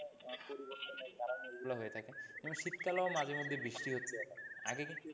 পরিবর্তনের কারণে এগুলো হয়ে থাকে কিন্তু শীতকালেও মাঝেমধ্যে বৃষ্টি হতে দেখা যায়।